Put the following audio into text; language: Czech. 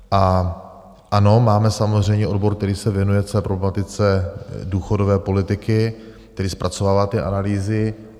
Ano, máme samozřejmě odbor, který se věnuje celé problematice důchodové politiky, který zpracovává ty analýzy.